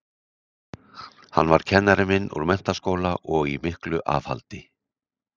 Hann var kennari minn úr menntaskóla og í miklu afhaldi.